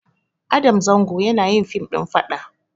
Adam zango yanayin fim ɗin faɗa